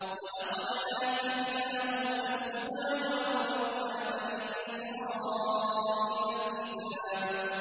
وَلَقَدْ آتَيْنَا مُوسَى الْهُدَىٰ وَأَوْرَثْنَا بَنِي إِسْرَائِيلَ الْكِتَابَ